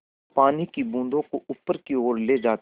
पानी की बूँदों को ऊपर की ओर ले जाती है